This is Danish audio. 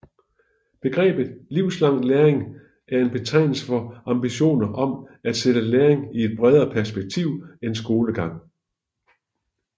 Begrebet livslang læring er en betegnelse for ambitioner om at sætte læring i et bredere perspektiv end skolegang